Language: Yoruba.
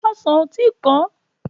Ọsàn ò tí pọ́n.